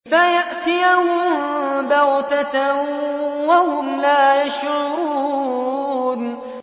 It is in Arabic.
فَيَأْتِيَهُم بَغْتَةً وَهُمْ لَا يَشْعُرُونَ